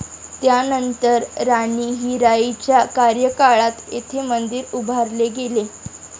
त्यानंतर राणी हिराईच्या कार्यकाळात येथे मंदिर उभारले गेले.